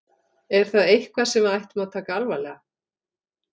Er það eitthvað sem við ættum að taka alvarlega?